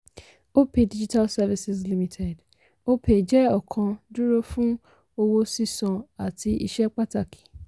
opay digital services limited: opay jẹ ọkan dúró fún owó sísan àti iṣẹ́ pàtàkì.